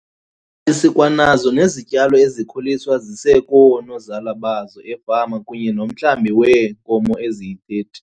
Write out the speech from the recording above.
Sikwanazo nezityalo ezikhuliswa zisekoonozala bazo efama kunye nomhlambi weenkomo eziyi-30.